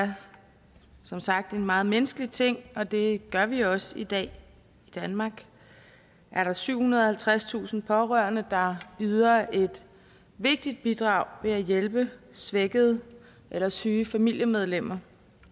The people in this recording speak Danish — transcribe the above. er som sagt en meget menneskelig ting og det gør vi også i dag i danmark er der syvhundrede og halvtredstusind pårørende der yder et vigtigt bidrag ved at hjælpe svækkede eller syge familiemedlemmer